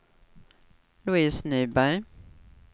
Louise Nyberg